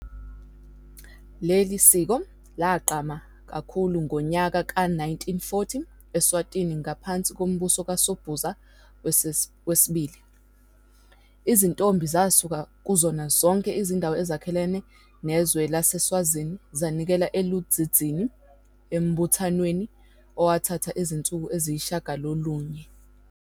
Leli siko lagqame kakhulu ngeminyaka ye-1940 Eswatini ngaphansi kombuso kaSobhuza II. Izintombi zasuka kuzona zonke izindawo ezakhele izwe laseSwazini zanikela eLudzidzini embuthanweni owathatha izinsuku eziyisishiyagalolunye.